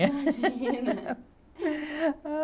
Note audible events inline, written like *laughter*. *laughs* Imagina!